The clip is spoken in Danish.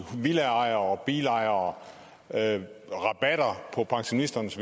villaejere og bilejere rabatter på pensionisternes